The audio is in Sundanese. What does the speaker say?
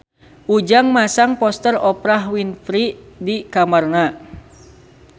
Ujang masang poster Oprah Winfrey di kamarna